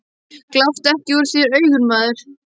Gláptu ekki úr þér augun, maður.